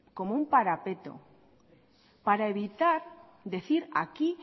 como un parapeto para evitar decir aquí